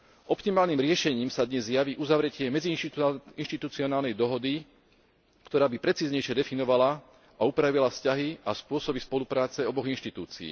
Optimálnym riešením sa dnes javí uzavretie medziinštitucionálnej dohody, ktorá by precíznejšie definovala a upravila vzťahy a spôsoby spolupráce oboch inštitúcií.